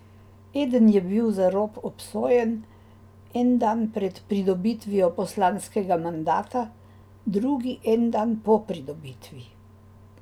Eden je bil za rop obsojen en dan pred pridobitvijo poslanskega mandata, drugi en dan po pridobitvi.